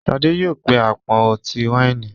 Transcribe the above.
Shade yóò pe apọn ọti-waini.